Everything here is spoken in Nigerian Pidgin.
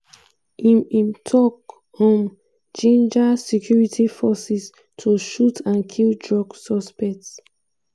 im im tok um ginger security forces to shoot and kill drug suspects.